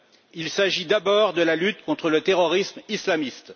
Il s'agit d'abord de la lutte contre le terrorisme islamiste.